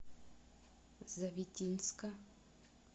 завитинска